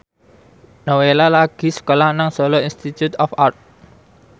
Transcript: Nowela lagi sekolah nang Solo Institute of Art